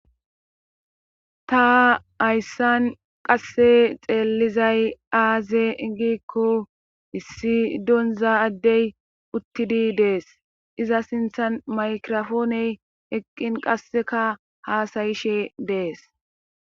ta hayssan qasse xeellizay aaze gikko issi donza addey uttidi dees iza sinthan maykirofooney eqqin qasseka haasayishe dees